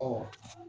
Ɔ